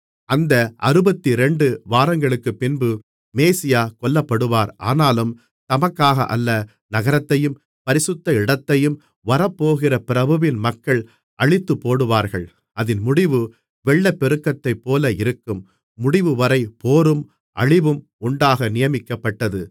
அந்த அறுபத்திரண்டு வாரங்களுக்குப் பின்பு மேசியா கொல்லப்படுவார் ஆனாலும் தமக்காக அல்ல நகரத்தையும் பரிசுத்த இடத்தையும் வரப்போகிற பிரபுவின் மக்கள் அழித்துப்போடுவார்கள் அதின் முடிவு வெள்ளப்பெருக்கத்தைப்போல இருக்கும் முடிவுவரை போரும் அழிவும் உண்டாக நியமிக்கப்பட்டது